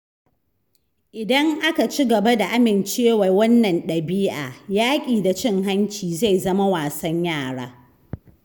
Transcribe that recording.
Idan aka ci gaba da amincewa da wannan ɗabi’a, yaƙi da cin hanci zai zama wasan yara.